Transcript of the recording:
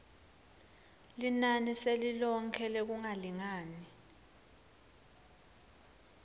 linani selilonkhe lekungalingani